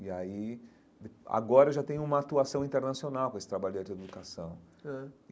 E aí, agora, eu já tenho uma atuação internacional com esse trabalho de arte e educação ãh.